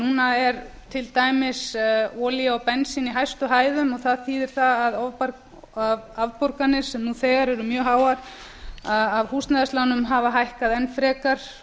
núna er til dæmis olía og bensín í hæstu hæðum það þýðir það að afborganir sem nú þegar eru mjög háar af húsnæðislánum hafa hækkað enn frekar